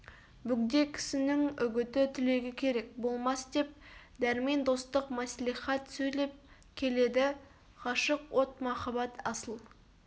бөгде кісінің үгіті тілегі керек болмас деп дәрмен достық мәслихат сөйлеп келеді ғашық от махаббат асыл